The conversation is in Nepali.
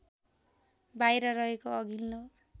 बाहिर रहेको अघिल्लो